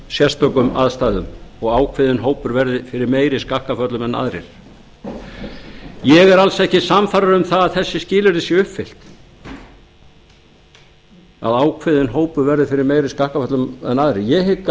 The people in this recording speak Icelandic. sérstökum aðstæðum og ákveðinn hópur verði fyrir meiri skakkaföllum en aðrir ég er alls ekki sannfærður um það að þessi skilyrði séu uppfyllt að ákveðinn hópur verði fyrir meiri skakkaföllum en aðrir ég hygg